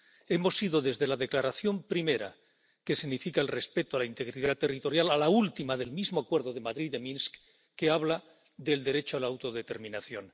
Hemos ido desde la declaración primera, que significa el respeto a la integridad territorial, a la última del mismo acuerdo de Madrid de Minsk, que habla del derecho a la autodeterminación.